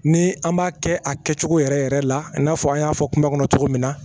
Ni an b'a kɛ a kɛcogo yɛrɛ yɛrɛ la i n'a fɔ an y'a fɔ kuma kɔnɔ cogo min na